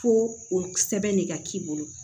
Ko o sɛbɛn ne ka k'i bolo